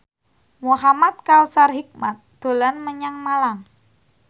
Muhamad Kautsar Hikmat dolan menyang Malang